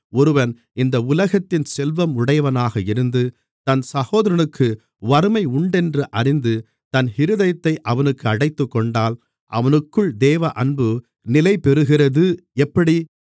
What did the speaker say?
ஒருவன் இந்த உலகத்தின் செல்வம் உடையவனாக இருந்து தன் சகோதரனுக்கு வறுமை உண்டென்று அறிந்து தன் இருதயத்தை அவனுக்கு அடைத்துக்கொண்டால் அவனுக்குள் தேவஅன்பு நிலைபெறுகிறது எப்படி